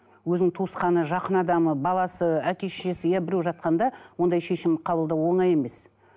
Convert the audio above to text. өзінің туысқаны жақын адамы баласы әке шешесі иә біреу жатқанда ондай шешім қабылдау оңай емес